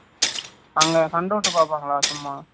அங்க சந்தோசா பாப்பாங்கலா சும்மா